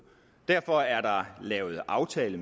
derfor er der lavet en aftale